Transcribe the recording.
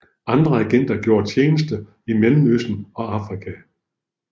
Andre agenter gjorde tjeneste i Mellemøsten og Afrika